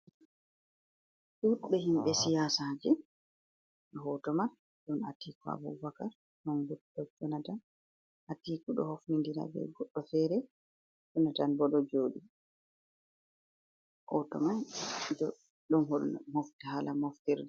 ɗuɓɓe himɓe siyasaje. Hoto mai ɗon Atiku Abubakar, ɗon Goodluck Jonathan. Atiku do hofnidira be goddo fere, Jonathan bo ɗo joɗi. Hoto mai ɗum ɗo holla hala moftirde.